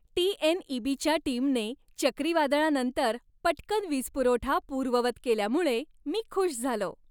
टी.एन.ई.बी.च्या टीमने चक्रीवादळानंतर पटकन वीजपुरवठा पूर्ववत केल्यामुळे मी खुश झालो.